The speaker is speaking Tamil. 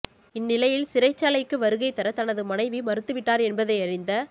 இந்நிலையில் சிறைச்சாலைக்கு வருகை தர தனது மனைவி மறுத்துவிட்டார் என்பதை அறிந்த